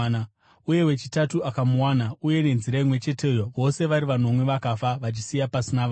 Uye wechitatu akamuwana, uye nenzira imwe cheteyo, vose vari vanomwe vakafa, vachisiya pasina vana.